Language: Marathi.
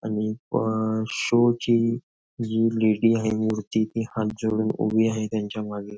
आणि प शो ची जी लेडी आहे मूर्ती ती हात जोडून उभी आहे त्यांच्या मागे.